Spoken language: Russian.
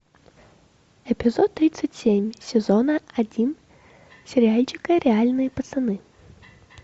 эпизод тридцать семь сезона один сериальчика реальные пацаны